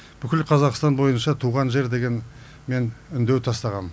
бүкіл қазақстан бойынша туған жер деген мен үндеу тастағам